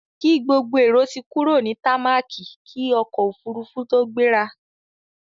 Kí gbogbo èrò ti kúrò ní támákì kí ọkọ̀-òfurufú tó gbéra!